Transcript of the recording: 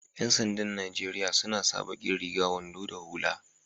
Yan sanda'n Nijeriya suna sa baki riga, wando da hulla.